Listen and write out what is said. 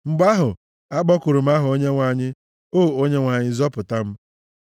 Mgbe ahụ, akpọkuru m aha Onyenwe anyị: “O Onyenwe anyị, zọpụta m!”